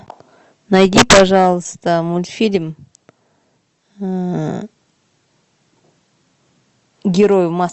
найди пожалуйста мультфильм герой в маске